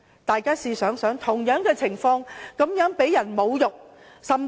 大家想想他們是如何遭人侮辱。